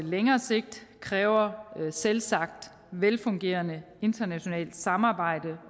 længere sigt kræver selvsagt et velfungerende internationalt samarbejde